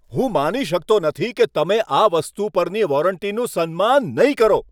હું માની શકતો નથી કે તમે આ વસ્તુ પરની વોરંટીનું સન્માન નહીં કરો.